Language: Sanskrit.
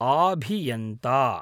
आभियन्ता